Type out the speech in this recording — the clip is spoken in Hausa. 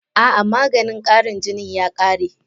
A'a maganin Karin jinin ya kare